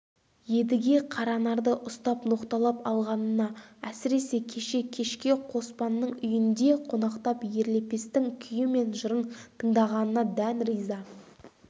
едіге қаранарды ұстап ноқталап алғанына әсіресе кеше кешке қоспанның үйінде қонақтап ерлепестің күйі мен жырын тыңдағанына дән риза